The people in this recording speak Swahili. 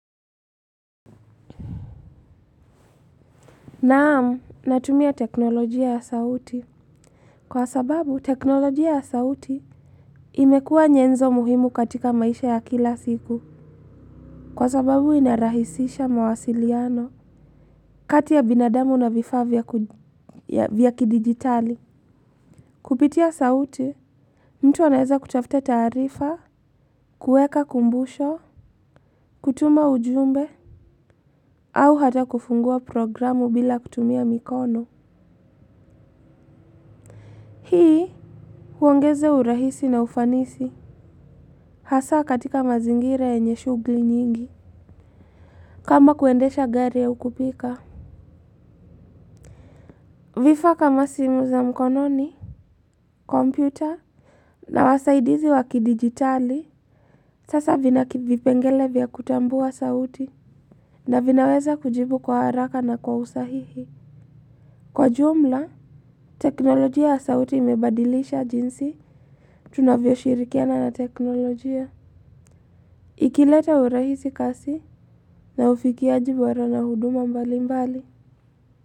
Naam, natumia teknolojia ya sauti. Kwa sababu, teknolojia ya sauti imekua nyenzo muhimu katika maisha ya kila siku. Kwa sababu, inarahisisha mawasiliano. Kati ya binadamu na vifaa vya kidigitali kupitia sauti mtu anaeza kutafta taarifa. Kueka kumbusho kutuma ujumbe au hata kufungua programu bila kutumia mikono. Hii, huongeza urahisi na ufanisi hasa katika mazingira yenye shugli nyingi. Kama kuendesha gari au kupika. Vifaa kama simu za mkononi, kompyuta na wasaidizi wa kidigitali. Sasa vina vipengele vya kutambua sauti na vinaweza kujibu kwa haraka na kwa usahihi. Kwa jumla, teknolojia ya sauti imebadilisha jinsi tunavyoshirikiana na teknolojia. Ikileta urahisi kazi na ufikiaji bora na huduma mbalimbali.